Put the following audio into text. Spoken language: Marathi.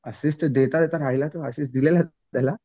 असिस्ट देता देता राहिलेला असिस्ट दिलेला त्याला.